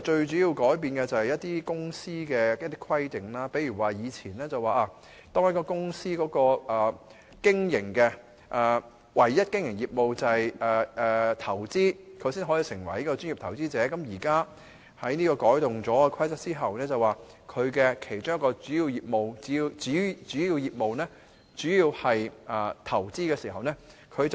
最主要改變的是對公司的規定，例如以前當公司的唯一經營業務是投資，它才可以成為專業投資者，而現在《規則》改動後，只要公司其中一個主要業務是投資，便可以